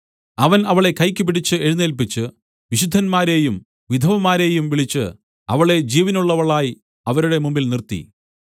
അവൻ അവളെ കൈ പിടിച്ച് എഴുന്നേല്പിച്ച് വിശുദ്ധന്മാരെയും വിധവമാരെയും വിളിച്ച് അവളെ ജീവനുള്ളവളായി അവരുടെ മുമ്പിൽ നിർത്തി